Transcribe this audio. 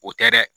O tɛ dɛ